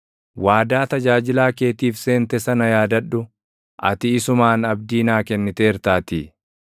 Waadaa tajaajilaa keetiif seente sana yaadadhu; ati isumaan abdii naa kenniteertaatii.